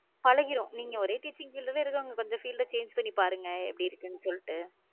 பழகிடும் நீங்க ஓரே teaching field இருக்குறவங்க கொஞ்சம் field change பண்ணி பாருங்க எப்படி இருக்குன்னு சொல்லிட்டு